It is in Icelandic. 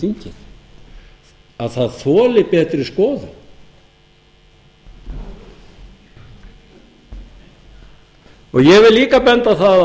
þingið að það þoli betri skoðun ég vil líka benda á það